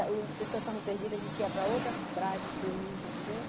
As pessoas estavam perdidas, a gente ia para outras praias com os turistas, entendeu?